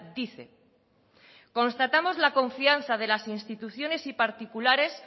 dice constatamos la confianza de las instituciones y particulares